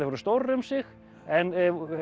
voru stórar um sig en